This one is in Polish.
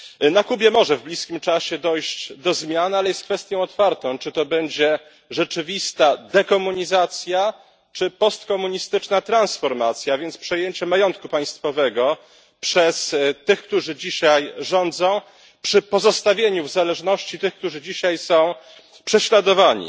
Na Kubie może w bliskim czasie dojść do zmian, ale jest kwestią otwartą, czy to będzie rzeczywista dekomunizacja czy postkomunistyczna transformacja, a więc przejęcie majątku państwowego przez tych, którzy dzisiaj rządzą, przy pozostawieniu w zależności tych, którzy dzisiaj są prześladowani.